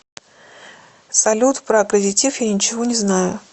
салют про аккредитив я ничего не знаю